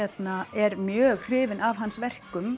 er mjög hrifin af hans verkum